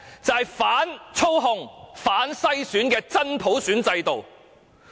就是反操控、反篩選的真普選制度。